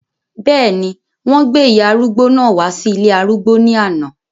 bẹ́ẹ̀ni, wọ́n gbé ìyá arúgbó náà wá sí ilé arúgbó ní àná